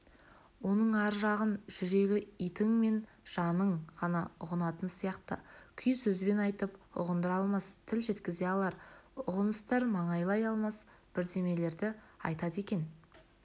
оның ар жағын жүрегі итің мен жаның ғана ұғынатын сияқты күй сөзбен айтып ұғындыра алмас тіл жеткізе алар ұғыныстар маңайлай алмас бірдемелерді айтады екен